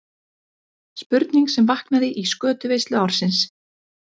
Spurning sem vaknaði í skötuveislu ársins.